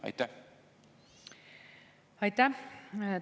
Aitäh!